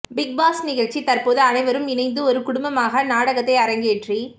big Boss நிகழ்ச்சியில் தற்போது அனைவரும் இணைந்து ஒரு குடும்பமாக நாடகத்தை அரங்கேற்றி